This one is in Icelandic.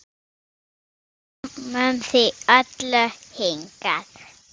Við komum því öllu hingað.